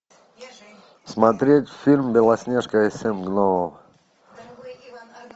смотреть фильм белоснежка и семь гномов